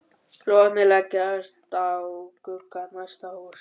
Logarnir leggjast á glugga næsta húss.